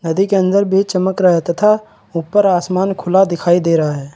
नदी के अंदर भी चमक रहा है तथा ऊपर आसमान खुला दिखाई दे रहा है।